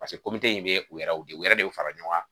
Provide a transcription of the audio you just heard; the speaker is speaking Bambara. in bɛ u yɛrɛw de fara ɲɔgɔn kan